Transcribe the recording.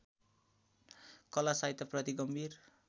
कला साहित्यप्रति गम्भीर